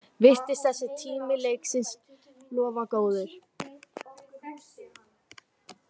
Virtist þessi tími leiksins lofa góðu